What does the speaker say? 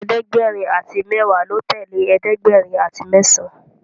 ẹ̀ẹ́dẹ̀gbẹ̀rin àti mẹwa ló tẹlẹ ẹ̀ẹ́dẹ̀gbẹ̀rin àti mesan